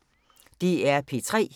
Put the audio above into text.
DR P3